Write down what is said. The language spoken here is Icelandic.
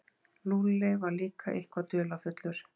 Lúlli var líka eitthvað dularfullur.